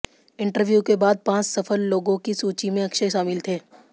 interview के बाद पांच सफल लाेगाें की सूची में अक्षय शामिल थे